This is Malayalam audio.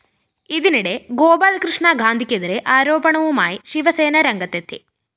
ഇതിനിടെ ഗോപാല്‍കൃഷ്ണ ഗാന്ധിക്കെതിരെ ആരോപണവുമായി ശിവസേന രംഗത്തെത്തി